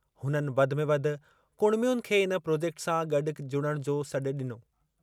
हुननि वधि में वधि कुड़मियुनि खे इन प्रॉजेक्ट सां गॾु जुड़णु जो सॾु ॾिनो।